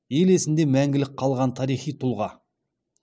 ел есінде мәңгілік қалған тарихи тұлға